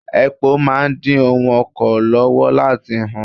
Èpo máa ń dí ohun oko lọ́wọ́ láti hù.